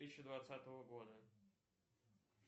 тысяча двадцатого года